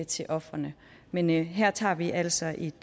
til ofrene men her tager vi altså et